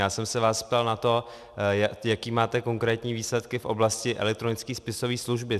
Já jsem se vás ptal na to, jaké máte konkrétní výsledky v oblasti elektronické spisové služby.